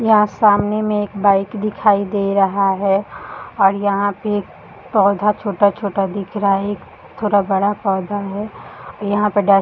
यहाँ सामने में एक बाइक दिखाई दे रहा है और यहाँ पे एक पौधा छोटा-छोटा दिख रहा है एक थोड़ा बड़ा पौधा है यहाँ पर डस्ट --